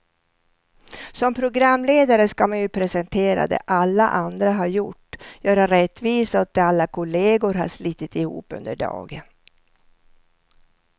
Som programledare ska man ju presentera det alla andra har gjort, göra rättvisa åt det alla kollegor har slitit ihop under dagen.